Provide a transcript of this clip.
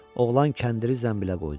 Oğlan kəndiri zənbilə qoydu.